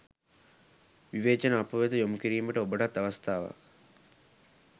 විවේචන අපවෙත යොමුකිරීමට ඔබටත් අවස්ථාවක්.